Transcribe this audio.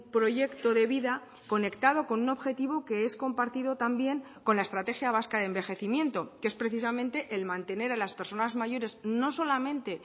proyecto de vida conectado con un objetivo que es compartido también con la estrategia vasca de envejecimiento que es precisamente el mantener a las personas mayores no solamente